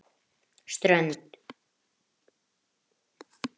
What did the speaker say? Strönd